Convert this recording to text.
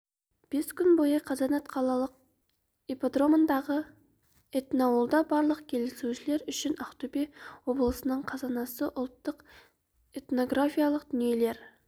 бес күн бойы қазанат қалалық ипподромындағы этноауылда барлық келушілер үшін ақтөбе облысының қазынасы ұлттық этнографикалық дүниелер